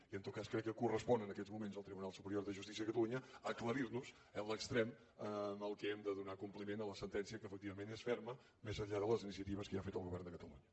i en tot cas crec que correspon en aquests moments al tribunal superior de justícia de catalunya aclarir nos l’extrem en el qual hem de donar compliment a la sentència que efectivament és ferma més enllà de les iniciatives que ja ha fet el govern de catalunya